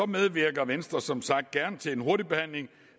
medvirker venstre som sagt gerne til en hurtig behandling